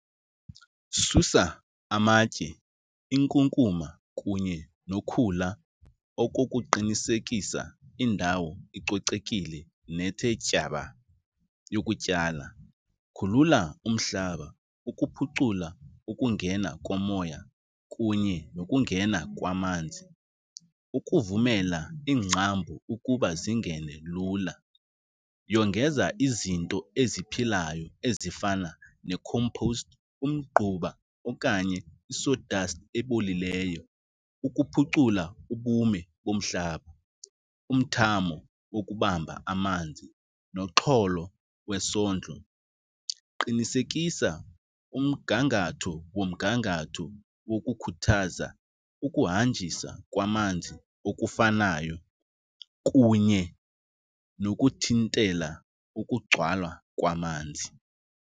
Susa amatye, inkunkuma kunye nokhula okokuqinisekisa indawo icocekile nethe tyaba yokutyala. Khulula umhlaba ukuphucula ukungena komoya kunye nokungena kwamanzi ukuvumela iingcambu ukuba zingene lula. Yongeza izinto eziphilayo ezifana ne-compost, umgquba okanye i-saw dust ebolileyo ukuphucula ubume bomhlaba, umthamo wokubamba amanzi nomxholo wesondlo. Qinisekisa umgangatho womgangatho wokukhuthaza ukuhanjiswa kwamanzi okufanayo kunye nokuthintela ukugcwala kwamanzi.